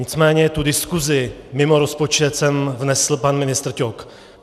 Nicméně tu diskusi mimo rozpočet sem vnesl pan ministr Ťok.